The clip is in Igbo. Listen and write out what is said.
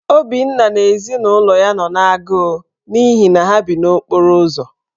Obinna na ezinụlọ ya nọ n’agụụ n’ihi na ha bi n’okporo ụzọ.